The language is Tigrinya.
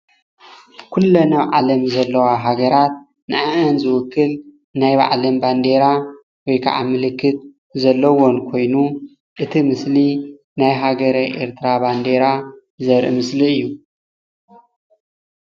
ኩለን ኣብ ዓለም ዘለዋ ሃገራት ንዐአን ዝውክል ናይ ባዕለን ባንዴራ ወይ ከዓ ምልክት ዘለዎን ኮይኑ እቲ ምስሊ ናይ ሃገረ ኤርትራ ባንደራ ዘርኢ ምስሊ እዩ፡፡